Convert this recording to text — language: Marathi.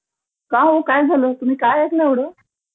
का हो काय झालं, तुम्ही काय ऐकलं एवढं?